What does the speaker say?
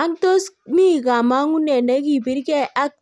Ang' tos mi kamong'unet ne kibirgee ak